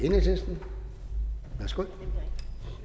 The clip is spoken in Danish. enhedslisten værsgo